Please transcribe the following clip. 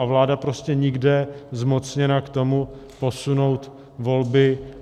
A vláda prostě nikde zmocněna k tomu posunout volby.